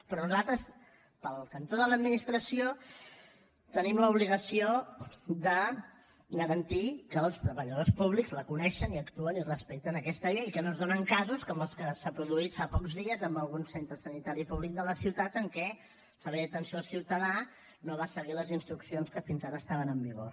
però nosaltres pel cantó de l’administració tenim l’obligació de garantir que els treballadors públics la coneixen i respecten aquesta llei que no es donen casos com els que s’han produït fa pocs dies en algun centre sanitari públic de la ciutat en què el servei d’atenció al ciutadà no va seguir les instruccions que fins ara estaven en vigor